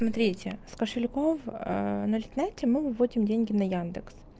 с кошельков наличности мы будем деньги на яндекс